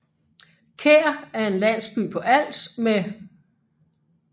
Kær er en landsby på Als med